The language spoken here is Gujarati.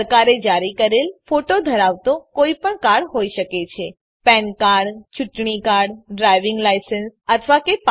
સરકારે જારી કરેલ ફોટો ધરાવતો કોઈપણ કાર્ડ હોઈ શકે છે પેન કાર્ડ ચુંટણી કાર્ડ ડ્રાઇવિંગ લાયસન્સ અથવા કે પાસપોર્ટ